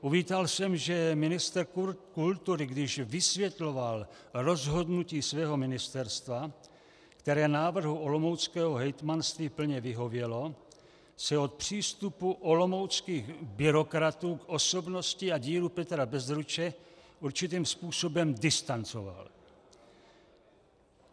Uvítal jsem, že ministr kultury, když vysvětloval rozhodnutí svého ministerstva, které návrhu olomouckého hejtmanství plně vyhovělo, se od přístupu olomouckých byrokratů k osobnosti a dílu Petra Bezruče určitým způsobem distancoval.